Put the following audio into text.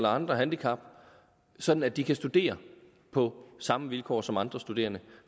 andre handicap sådan at de kan studere på samme vilkår som andre studerende